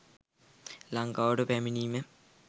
ලංකාවට පැමිණීම